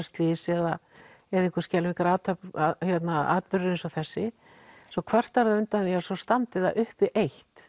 slys eða eða einhver skelfilegur atburður eins og þessi svo kvartar það undan því að svo standi það uppi eitt